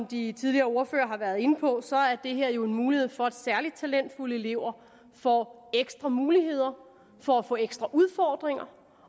de tidligere ordførere har været inde på er det her jo en mulighed for at særlig talentfulde elever får ekstra muligheder for at få ekstra udfordringer